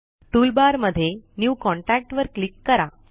toolbar मध्ये new contact वर click करा